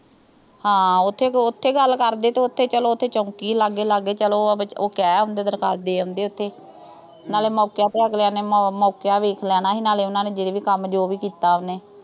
ਹਾਂ। ਉਥੇ, ਉਥੇ ਗੱਲ ਕਰਦੇ। ਤੇ ਉਥੇ ਚੌਂਕੀ ਆ ਲਾਗੇ, ਲਾਗੇ। ਚਲੋ ਉਹ ਕਹਿ ਆਉਂਦੇ, ਦਰਖਾਸਤ ਦੇ ਆਉਂਦੇ ਉਥੇ। ਨਾਲੇ ਮੌਕੇ ਤੇ ਅਗਲਿਆਂ ਨੇ ਮੌਕਾ ਦੇਖ ਲੈਣਾ ਸੀ, ਜਿਹੜੇ ਵੀ ਕੰਮ, ਜੋ ਵੀ ਕੀਤਾ ਉਹਨੇ